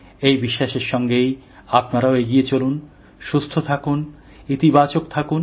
এই বিশ্বাসের সঙ্গেই আপনারাও এগিয়ে চলুন সুস্থ থাকুন ইতিবাচক থাকুন